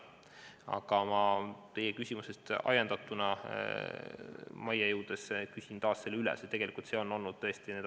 Aga teie küsimusest ajendatuna küsin ma selle majja jõudes taas üle.